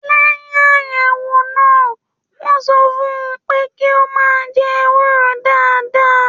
Lẹyìn ayẹwo náà, wọn sọ fún pé kí o máa jẹ ewúro dáadáa